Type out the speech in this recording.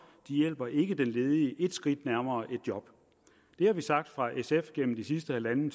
hjælper ikke den ledige et skridt nærmere et job det har vi sagt fra sf’s side gennem de sidste en en